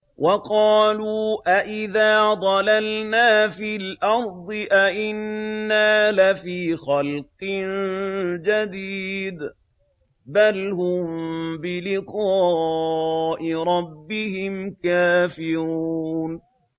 وَقَالُوا أَإِذَا ضَلَلْنَا فِي الْأَرْضِ أَإِنَّا لَفِي خَلْقٍ جَدِيدٍ ۚ بَلْ هُم بِلِقَاءِ رَبِّهِمْ كَافِرُونَ